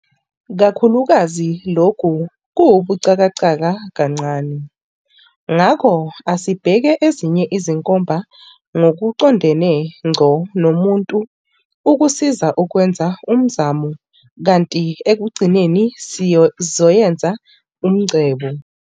Kakhulukazi lokhu kuwubuxhakaxhaka kancane, ngakho asibheke ezinye izinkomba ngokuqondene ngqo nomuntu ukusiza ukwenza umzamo kanti ekugcineni sizoyenza ungcebo.